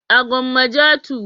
A Gwamja 2.